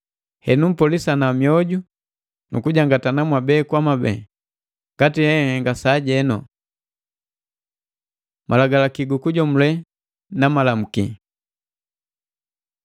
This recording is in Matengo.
Henu mpolisana mioju nu kujangatana mwabe kwa mwabe, ngati henhenga sajenu. Malagalaki gukujomule na Malamuki